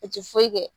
U ti foyi kɛ